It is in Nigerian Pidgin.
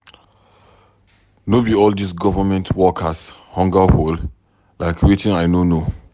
No be all these government workers hunger hol like wetin I ko know.